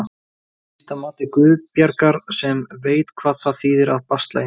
Ekki síst að mati Guðbjargar sem veit hvað það þýðir að basla ein.